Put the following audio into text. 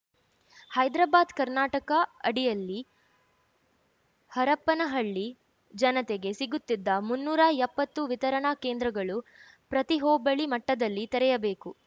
ಹೈದ್ರಾಬಾದ್‌ ಕರ್ನಾಟಕ ಅಡಿಯಲ್ಲಿ ಹರಪನಹಳ್ಳಿ ಜನತೆಗೆ ಸಿಗುತಿದ್ದ ಮುನ್ನೂರ ಎಪ್ಪತ್ತು ವಿತರಣಾ ಕೇಂದ್ರಗಳು ಪ್ರತಿ ಹೋಬಳಿ ಮಟ್ಟದಲ್ಲಿ ತೆರೆಯಬೇಕು